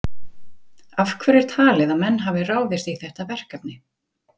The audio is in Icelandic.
Hrund: Af hverju er talið að menn hafi ráðist í þetta verkefni?